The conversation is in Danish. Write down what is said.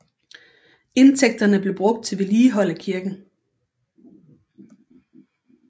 Indtægterne blev brugt til vedligehold af kirken